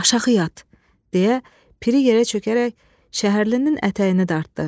Aşağı yat, deyə piri yerə çökərək şəhərlinin ətəyini dartdı.